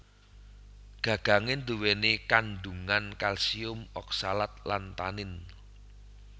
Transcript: Gagange duweni kandhungan kalsium oksalat lan tanin